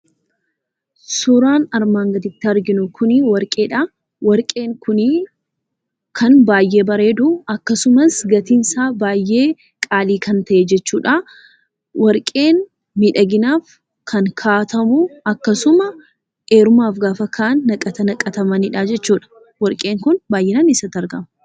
Suuraan armaan gaditti arginu kunii warqeedhaa, warqeen kunii kan baayyee bareedu akkasumas gatiinsaa baayyee qaalii kan ta'e jechuudha. Warqeen miidhaginaaf kan kaa'atamu akkasumas heerumaaf gaafa ka'an naqata naqatamanidha jechuudha. Warqeen kun baay'inaan eessatti argama?